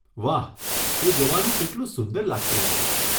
વાહ, એ જોવાનું કેટલું સુંદર લાગતું હશે.